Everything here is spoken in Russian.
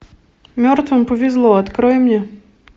мертвым повезло открой мне